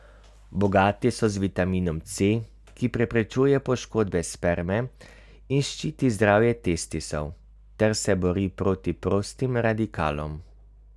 Bogati so z vitaminom C, ki preprečuje poškodbe sperme in ščiti zdravje testisov ter se bori proti prostim radikalom.